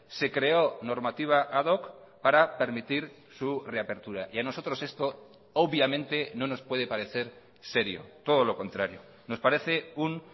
se creó normativa ad hoc para permitir su reapertura y a nosotros esto obviamente no nos puede parecer serio todo lo contrario nos parece un